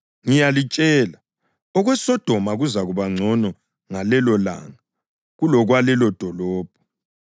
Ngiyalitshela, okweSodoma kuzakuba ngcono ngalelolanga kulokwalelodolobho.